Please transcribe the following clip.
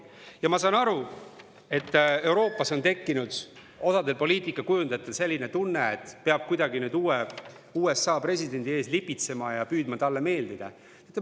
" Ja ma saan aru, et Euroopas on osal poliitikakujundajatel tekkinud selline tunne, et nüüd peab USA uue presidendi ees kuidagi lipitsema ja püüdma talle meeldida.